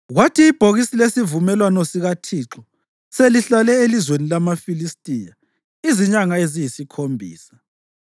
Kwathi ibhokisi lesivumelwano sikaThixo selihlale elizweni lamaFilistiya izinyanga eziyisikhombisa,